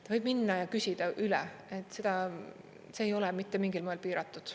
Ta võib minna ja küsida üle, see ei ole mitte mingil moel piiratud.